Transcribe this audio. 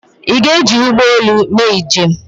ị ga-eji ụgbọ elu mee njem?